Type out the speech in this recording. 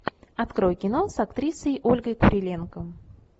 открой кино с актрисой ольгой куриленко